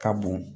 Ka bon